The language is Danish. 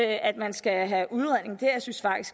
at man skal have udredning